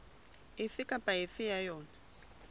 efe kapa efe ya yona